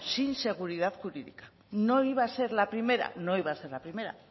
sin seguridad jurídica no iba a ser la primera no iba a ser la primera